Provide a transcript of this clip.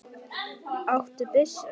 Áttu byssu?